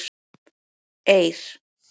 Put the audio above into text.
Eir